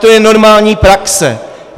To je normální praxe.